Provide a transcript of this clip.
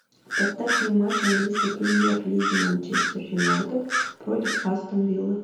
поставь мне матч английской премьер лиги манчестер юнайтед против астон виллы